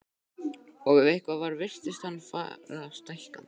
Og ef eitthvað var virtist hann fara stækkandi.